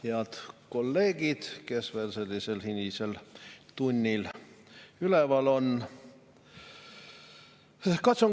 Head kolleegid, kes veel hilisel tunnil üleval on!